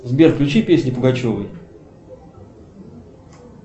сбер включи песни пугачевой